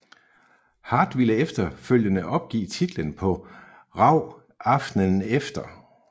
Hart ville efterfølgende opgive titlen på RAW aftenen efter